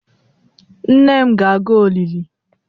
Nne m ga-aga olili